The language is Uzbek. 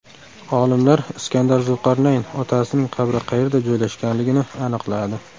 Olimlar Iskandar Zulqarnayn otasining qabri qayerda joylashganligini aniqladi.